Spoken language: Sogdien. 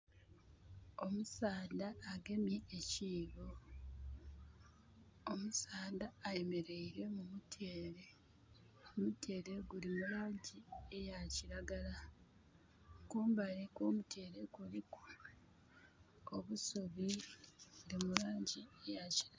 Omusaadha agemye ekiibo. Omusaadha ayemeleire mu mutyere. Omutyere guli mu laangi eya kiragala. Kumbali kw'omutyere kuliku obusubi mu laangi eya kiragala.